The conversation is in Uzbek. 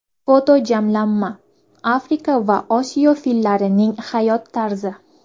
Fotojamlanma: Afrika va Osiyo fillarining hayot tarzi.